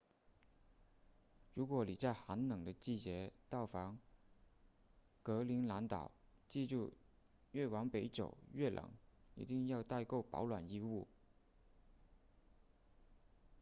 如果你在寒冷的季节到访格陵兰岛记住越往北走越冷一定要带够保暖衣物